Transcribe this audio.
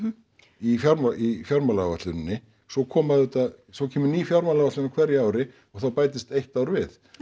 í í fjármálaáætluninni svo koma auðvitað svo kemur ný fjármálaáætlun á hverju ári og þá bætist eitt ár við